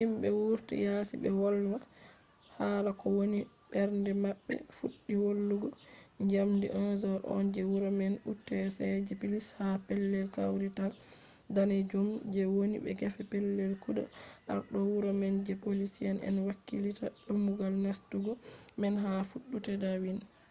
himɓe wurti yasi ɓe wolwa hala ko woni mbernde maɓɓe fuɗɗi wolugo njamdi 11:00nje wuro man utc +1 ha pellel kawrital danejum je woni gefe pellel kugal arɗo wuro man je poliici en hakkilitta dammugal nastugo man ha fattude dawnin